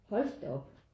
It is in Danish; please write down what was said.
Hold da op